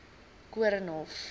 koornhof